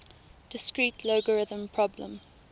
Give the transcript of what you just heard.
discrete logarithm problem